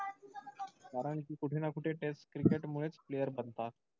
कारण कि कुठे ना कुठे test cricket मुळेच player बनतात.